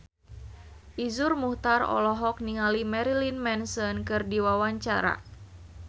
Iszur Muchtar olohok ningali Marilyn Manson keur diwawancara